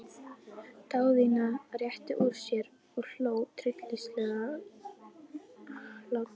Daðína rétti úr sér og hló tryllingslegum hlátri.